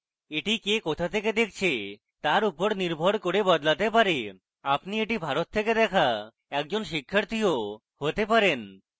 এটি কে কোথা থেকে দেখছে তার উপর নির্ভর করেও বদলাতে পারে আপনি এটি ভারত থেকে দেখা একজন শিক্ষার্থীও হতে পারেন